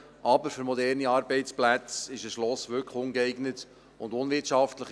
Aber für moderne Arbeitsplätze ist ein Schloss wirklich ungeeignet und unwirtschaftlich.